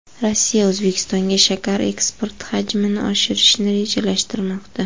Rossiya O‘zbekistonga shakar eksporti hajmini oshirishni rejalashtirmoqda.